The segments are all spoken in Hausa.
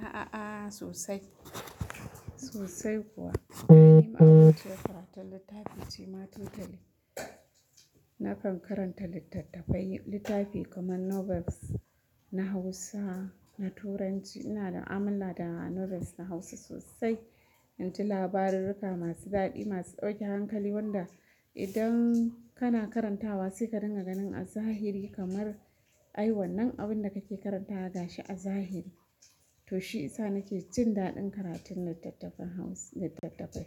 A a a sosai, sosai kuwa. Na yi ma'aboci da karatun littafi ce matuƙa tali. Na kan karanta littattafai, littafi kamar novels na Hausa, na Turanci. Ina da muamala da novels na Hausa sosai. Inji labarurruka masu daɗi, masu ɗauke hankali wanda idan kana karantawa sai ka ringa ganin a zahiri kamar ai wannan abin da kake karantawa ya gashi a zahiri. To shi isa nake jin daɗin karatun littattafai Hausa, littattafai.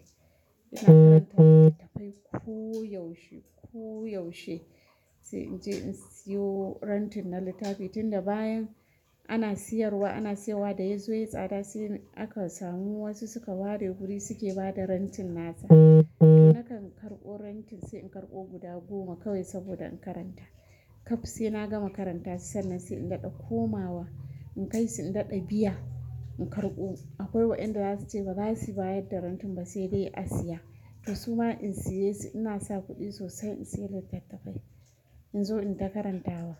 Ina karanta littattafai koyaushe, koyaushe. Sai in je in siyo renting na littafi tun da bayan ana siyarwa, ana siyarwa da yazo yayi tsada sai aka samu wasu suka ware guri suke bada renting nasa. Nakan karɓo renting sai in karɓo guda goma kawai saboda in karanta. Kaf sai na gama karanta sai sannan sai in daɗa komawa. In kai sai in daɗa biya, in karɓo. Akwai waɗanda za su ce ba zasu bayar da renting ba sai dai a siya. To su ma in siye su ina sa kuɗi sosai in siyo littattafai. In zo in ta karantawa.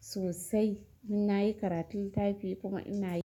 Sosai ina yi karatun littafi kuma ina yi.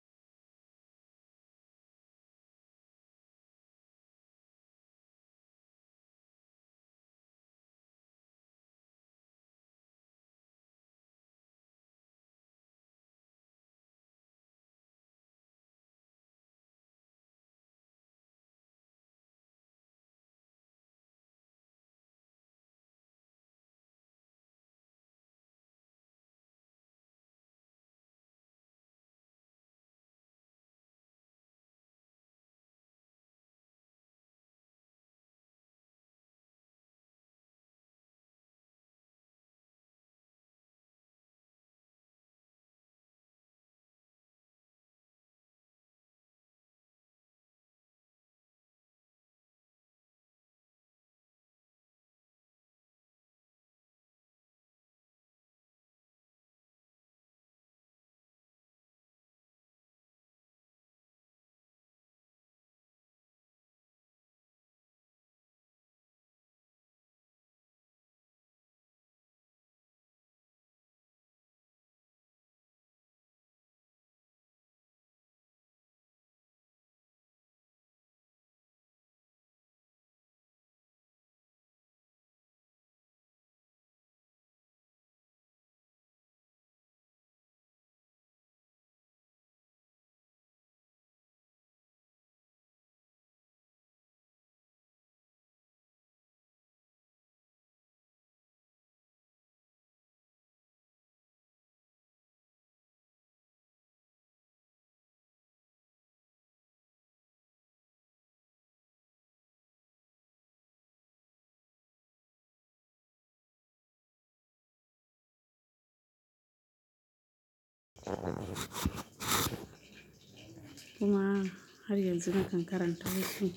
Kuma har yanzu nakan karanta wasu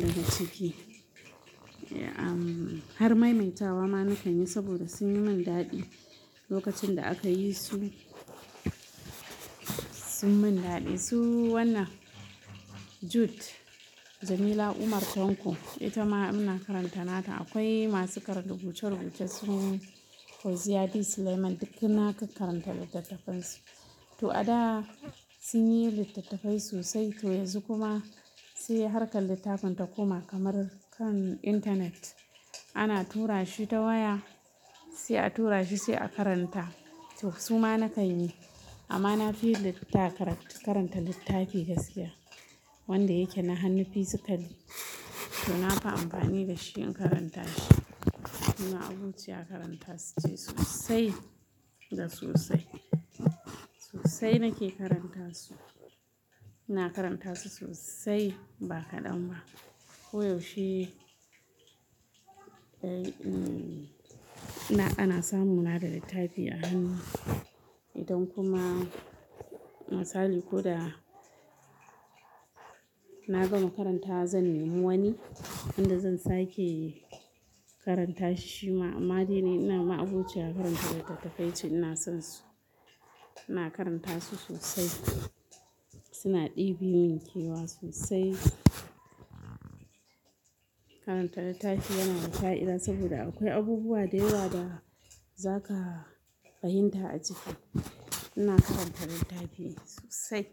da ga ciki. Eh, har maimaitawa ma na kanyi saboda sun yi min daɗi lokacin da aka yi su. Sun min daɗi su wannan Jude, Jamila Umar Tanko ita ma ina karanta nata. Akwai masu karin rubuce-rubuce suna Fauziyya D. Suleiman dukkan na kan karanta littattafansu. To a da sun yi littattafai sosai to yanzu kuma sai har kan littafin ta koma kamar kan intanet. Ana tura shi ta waya sai a tura shi sai a karanta. To su ma na kan yi amma na fi littattafai karanta littafi gaskiya wanda yake na hannu fizitali. To na fi amfani da shi in karanta shi. Na ma'abociya karanta su ce sosai da sosai. Sosai nake karanta su. Ina karanta su sosai ba kaɗan ba. Koyaushe, eh, ana samuna da littafi a hannu. Idan kuma misali ko da na gama karantawa zan nemi wani wanda zan sake karanta shi ma. Amma dai ne ina ma'abociyar karanta littattafai ce ina son su. Ina karanta su sosai. Suna ɗebe min kewa sosai. Karanta littafi yana da sha'ira saboda akwai abubuwa da yawa da za ka fahimta a ciki. Ina karanta littafi sosai.